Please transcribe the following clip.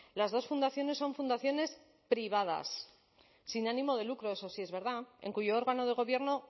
las dos fundaciones son fundaciones privadas sin ánimo de lucro eso sí es verdad en cuyo órgano de gobierno